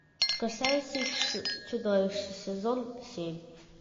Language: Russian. красавица и чудовище сезон семь